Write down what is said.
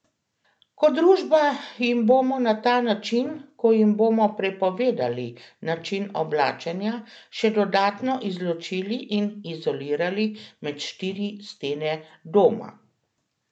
Kot družba jih bomo na ta način, ko jim bomo prepovedovali način oblačenja, še dodatno izločili in izolirali med štiri stene doma.